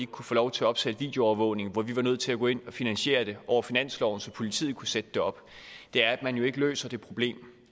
kunne få lov til at opsætte videoovervågning og vi var nødt til at gå ind og finansiere det over finansloven så politiet kunne sætte det op er at man jo ikke løser det problem